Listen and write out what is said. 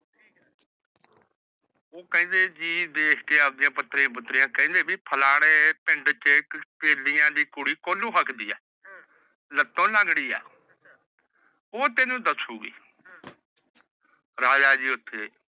ਉਹ ਕਹਿੰਦੇ ਜੀ ਦੇਖ ਕੇ ਆਪਣੇ ਪੱਤਰੇ ਪੱਤਰੀਆਂ। ਕਹਿੰਦੇ ਵੀ ਫਲਾਣੇ ਪਿੰਡ ਚ ਇੱਕ ਤੇਲੀਆ ਦੀ ਕੁੜੀ ਕੋਹਲੂ ਹੱਕਦੀ ਏ। ਲੱਤੋਂ ਲੰਗੜੀ ਏ। ਉਹ ਤੈਨੂੰ ਦੱਸੂਗੀ। ਰਾਜਾ ਜੀ ਉੱਥੇ